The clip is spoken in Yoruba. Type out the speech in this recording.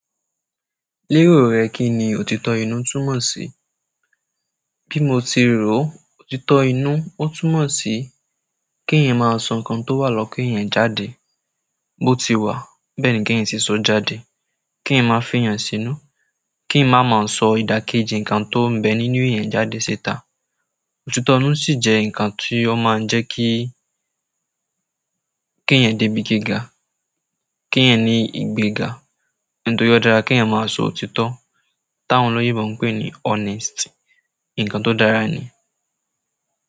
Lérò rẹ kí ni òtítọ́ inú túmọ̀ sí? Bí mo ti rò ó, òtítọ́ inú ó túmọ̀ sí keẹ̀yan máa sọ nǹkan tó wà lọ́kan ẹ̀eyan jáde. Bó ti wà, bẹ́ẹ̀ ni keeyan sì sọ jáde. Keeyann má fiyàn sínú, keeyan má má sọ ìdákéjì nǹkan tó ń bẹ nínú ẹ̀eyan jáde síta. Òtítọ́ inú sì jẹ́ nǹkan tí ó máa ń jẹ́ kí, keeyan dé bi gíga, keeyan ní ìgbéga. Nítorí ó dára keeyan máa sọ òtítọ́. Táwọn olóyinbo ń pè ní honesty, nǹkan tó dára ni.